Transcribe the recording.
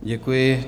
Děkuji.